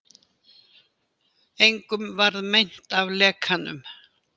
Engum varð meint af lekanum